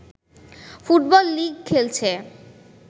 football league খেলছে